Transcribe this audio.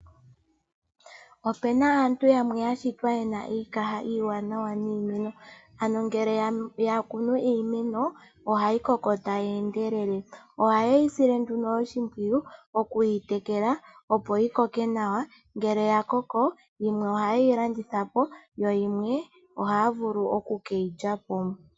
Opena aantu yamwe yashitwa yena iikaha iiwanawa niimeno ano ngele yakunu iimeno ohayi koko tayi endelele ohaye yisile oshimpwiyu okuyitekela opo yikoke nawa ngele yakoko yimwe ohaye yi landithapo yo yimwe ohaya vulu oku keyi lyapo.